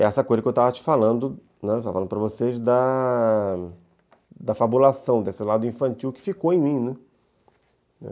É essa coisa que eu estava te falando, né, estava falando para vocês da fabulação, desse lado infantil que ficou em mim, né.